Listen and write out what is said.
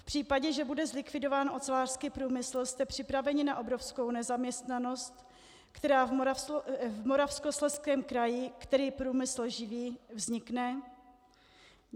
V případě, že bude zlikvidován ocelářský průmysl, jste připraveni na obrovskou nezaměstnanost, která v Moravskoslezském kraji, který průmysl živí, vznikne?